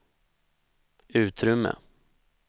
utrymme